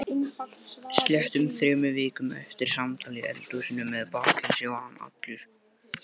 Sléttum þremur vikum eftir samtal í eldhúsinu með bakkelsi var hann allur.